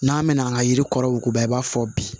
N'an mɛ n'an ka yiri kɔrɔ yuguba i b'a fɔ bi